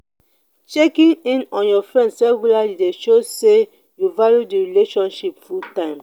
checking in on your friends regularly de show say you value the relationship full time